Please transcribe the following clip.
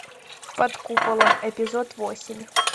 под куполом эпизод восемь